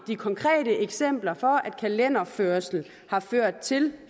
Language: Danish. de konkrete eksempler på at kalenderførelse har ført til